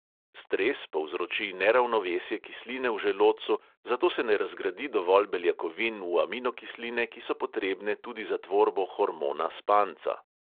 Stres povzroči neravnovesje kisline v želodcu, zato se ne razgradi dovolj beljakovin v aminokisline, ki so potrebne tudi za tvorbo hormona spanca.